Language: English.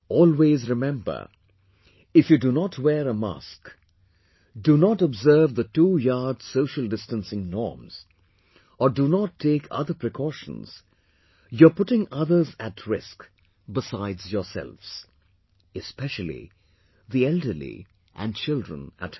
Always, remember, if you do not wear a mask, do not observe the twoyard social distancing norms or do not take other precautions, you are putting others at risk besides yourselves, especially the elderly and children at home